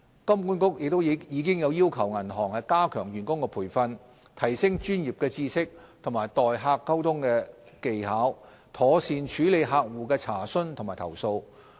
金管局亦已要求銀行加強員工培訓，提升專業知識及待客溝通技巧，妥善處理客戶的查詢及投訴。